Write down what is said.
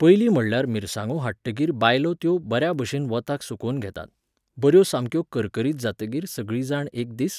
पयली म्हणल्यार मिरसांगो हाडटकगीर बायलो त्यो बऱ्याभशेन वताक सुकोवन घेतात, बऱ्यो सामक्यो करकरीत जातगीर सगळीं जाण एक दीस